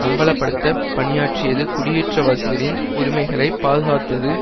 அம்பலப்படுத்தப் பணியாற்றியது குடியேற்றவாசிகளின் உரிமைகளை பாதுகாத்தது